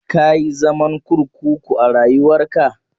Ka yi zaman kurkuku a rayuwarka?